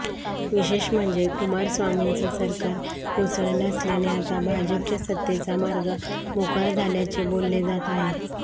विशेष म्हणजे कुमारस्वामींचं सरकार कोसळलं असल्याने आता भाजपच्या सत्तेचा मार्ग मोकळा झाल्याचे बोलले जात आहे